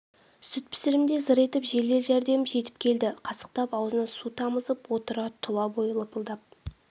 сүт пісірімде зыр етіп жедел-жәрдем жетіп келді қасықтап аузына су тамызып отыр тұла бойы лыпылдап